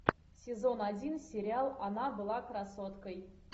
сезон один сериал она была красоткой